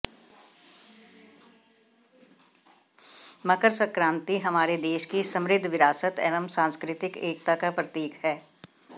मकर संक्रांति हमारे देश की समृद्ध विरासत एवं सांस्कृतिक एकता का प्रतीक है